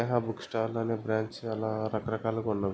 స్నేహ book stall అనే branch అలా రకరకాలుగా ఉన్నవి.